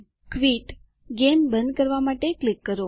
quit - game બંધ કરવા માટે ક્લિક કરો